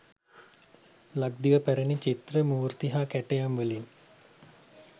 ලක්දිව පැරැණි චිත්‍ර, මූර්ති හා කැටයම්වලින්